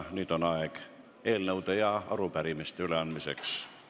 Nüüd on aeg eelnõude ja arupärimiste üleandmiseks.